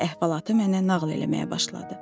Qarı əhvalatı mənə nağıl eləməyə başladı.